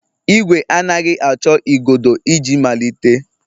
Ìgwè anaghị achọ igodo iji malite.